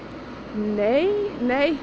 nei nei